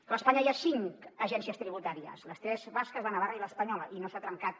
clar a espanya hi ha cinc agències tributàries les tres basques la navarresa i l’espanyola i no s’ha trencat